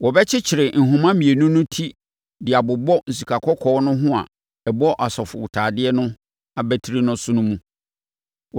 Wɔbɛkyekyere nhoma mmienu no ti de abobɔ sikakɔkɔɔ no a ɛbɔ asɔfotadeɛ no abatiri so no mu.